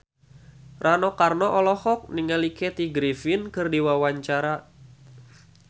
Rano Karno olohok ningali Kathy Griffin keur diwawancara